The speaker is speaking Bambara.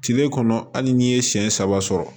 Kile kɔnɔ hali n'i ye siɲɛ saba